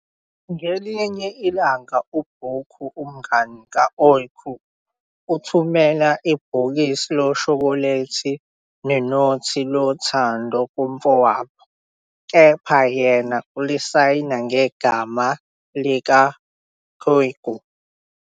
Ngelinye ilanga uBurcu, umngani ka-Öykü, uthumela ibhokisi loshokholethi nenothi lothando kumfowabo, kepha yena ulisayina ngegama lika-kykü.